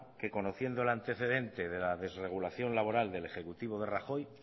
que conociendo el antecedente de las desregulación laboral del ejecutivo de rajoy